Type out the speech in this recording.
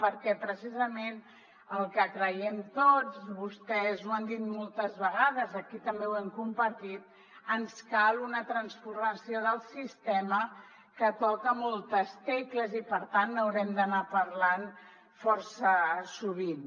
perquè precisament el que creiem tots i vostès ho han dit moltes vegades i aquí també ho hem compartit ens cal una transformació del sistema que toca moltes tecles i per tant n’haurem d’anar parlant força sovint